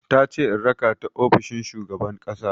Tace in raka ta ofishin shugaban ƙasa.